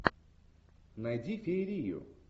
найди феерию